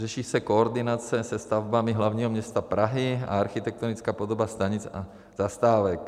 Řeší se koordinace se stavbami hlavního města Prahy a architektonická podoba stanic a zastávek.